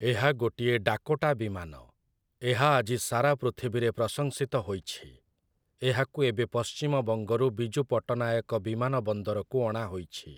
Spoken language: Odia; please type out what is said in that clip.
ଏହା ଗୋଟିଏ 'ଡାକୋଟା' ବିମାନ । ଏହା ଆଜି ସାରା ପୃଥିବୀରେ ପ୍ରସଂଶିତ ହୋଇଛି । ଏହାକୁ ଏବେ ପଶ୍ଚିମ ବଙ୍ଗରୁ ବିଜୁ ପଟ୍ଟନାୟକ ବିମାନ ବନ୍ଦରକୁ ଅଣାହୋଇଛି ।